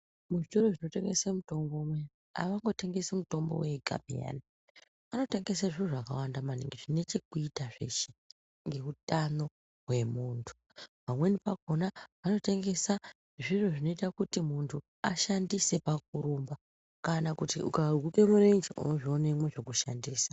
Mu zvitoro zvino tengese mutombo unowu avango tengesi mutombo wega peyani vano tengese zviro zvaka wanda maningi zvine chekuita zveshe nge hutano hwe muntu pamweni pakona vano tengesa zviro zvino ita kuti muntu ashandise paku rumba kana kuti uka hukurire ichi uno zvionemwo zveku shandisa.